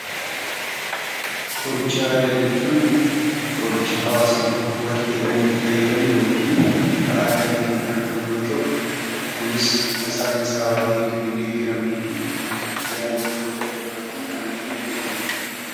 Qoricha aadaa jechuun qoricha hawaasni tokko barteedhaan itti fayyadamu (bifa aadaa ta'een kan argamu) yoo ta'u, kunis bifa saayinsawaa ta'een kan hin deeggaramnee fi yaalii namoota dhuunfaatiin kan argame jechuu dha.